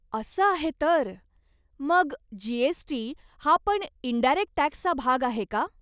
असं आहे तर, मग जी.एस.टी. हा पण इंडायरेक्ट टॅक्सचा भाग आहे का?